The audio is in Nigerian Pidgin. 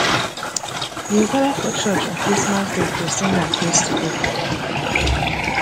we go gather for church on christmas day to sing and praise together